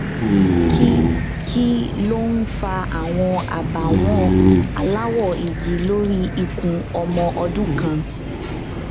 kí kí ló ń fa àwọn àbàwọn aláwọ igi lórí ikùn ọmọ ọdún kan